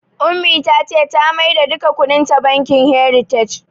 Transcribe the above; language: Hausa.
Ummi ta ce ta maida duka kuɗinta bankin "heritage"